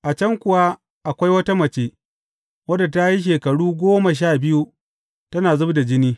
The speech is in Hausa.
A can kuwa akwai wata mace, wadda ta yi shekaru goma sha biyu tana zub da jini.